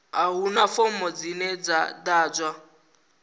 a huna fomo dzine dza ḓadzwa